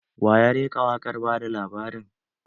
Waya rera waƙar ba da labarin?